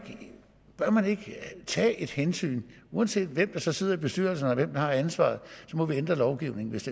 tage et hensyn uanset hvem der så sidder i bestyrelserne og har ansvaret så må vi ændre lovgivningen hvis